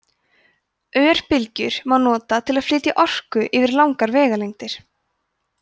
örbylgjur má nota til að flytja orku yfir langar vegalengdir